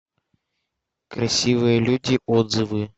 красивые люди отзывы